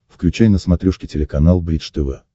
включай на смотрешке телеканал бридж тв